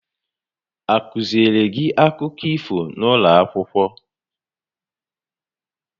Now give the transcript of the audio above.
A kụziiri gị akụkọ ifo n'ụlọ akwụkwọ?